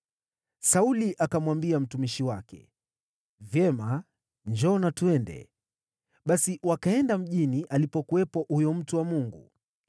Sauli akamwambia mtumishi wake, “Vyema, njoo na twende.” Basi wakaenda mjini alipokuwepo huyo mtu wa Mungu.